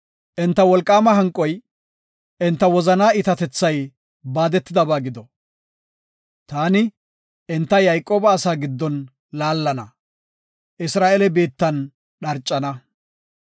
Enta wolqaama hanqoy enta wozanaa iitatethay baadetidaba gido. Taani, enta Yayqooba asa giddon laallana. Isra7eele biittan dharcana.